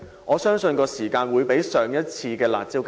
我相信其有效時間將較上次"辣招"更短。